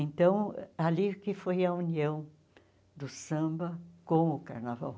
Então, ali que foi a união do samba com o carnaval.